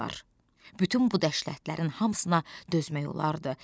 Bütün bu dəhlətlərin hamısına dözmək olardı.